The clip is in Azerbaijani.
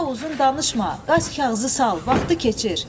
Daha uzun danışma, qaç kağızı sal, vaxtı keçir.